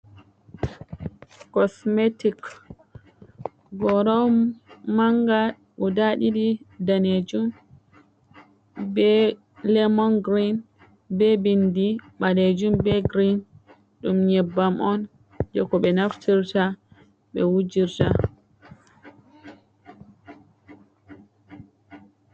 Kosmetik goora mannga guda ɗiɗi daneejum ,be lemon girin be binndi baleejum be girin. Ɗum nyebbam on jey ko ɓe naftirta ,ɓe wujirta.